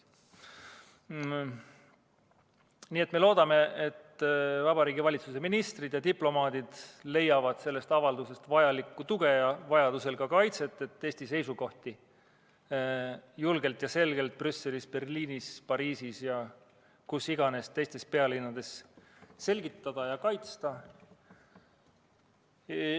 Nii et me loodame, et Vabariigi Valitsuse ministrid ja diplomaadid leiavad sellest avaldusest vajalikku tuge ja vajaduse korral ka kaitset, et Eesti seisukohti julgelt ja selgelt Brüsselis, Berliinis, Pariisis ja teisteski pealinnades selgitada ja kaitsta.